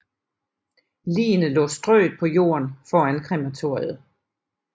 Ligene lå strøet på jorden foran krematoriet